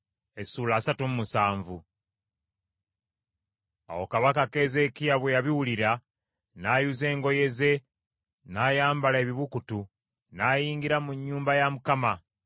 Awo kabaka Keezeekiya bwe yabiwulira n’ayuza engoye ze n’ayambala ebibukutu n’ayingira mu nnyumba ya Mukama .